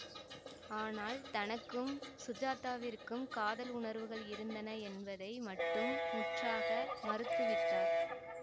ஆனால் தனக்கும் சுஜாதாவிற்கும் காதல் உணர்வுகள் இருந்தன என்பதை மட்டும் முற்றாக மறுத்துவிட்டார்